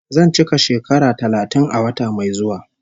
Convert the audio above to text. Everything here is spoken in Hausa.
Zan cika shekara talatin a wata mai zuwa